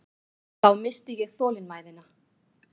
Þá missti ég þolinmæðina.